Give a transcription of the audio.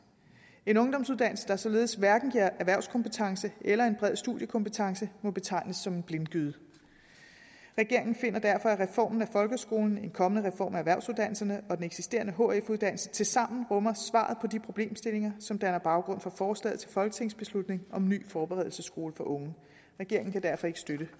en ungdomsuddannelse der således hverken giver erhvervskompetence eller bred studiekompetence må betegnes som en blindgyde regeringen finder derfor at reformen af folkeskolen en kommende reform af erhvervsuddannelserne og den eksisterende hf uddannelse tilsammen rummer svaret på de problemstillinger som danner baggrund for forslaget til folketingsbeslutning om en ny forberedelsesskole for unge regeringen kan derfor ikke støtte